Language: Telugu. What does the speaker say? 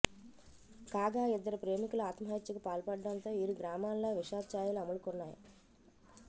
కాగా ఇద్దరు ప్రేమికులు ఆత్మహత్యకు పాల్పడటంతో ఇరు గ్రామాల్లో విషాద చాయలు అలుముకున్నాయి